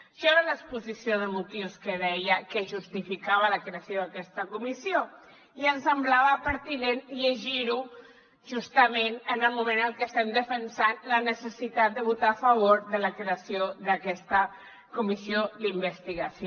això era l’exposició de motius que deia que justificava la creació d’aquesta comissió i ens semblava pertinent llegir ho justament en el moment en el que estem defensant la necessitat de votar a favor de la creació d’aquesta comissió d’investigació